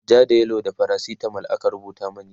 ja da yellow da faracitamol aka rubuta mani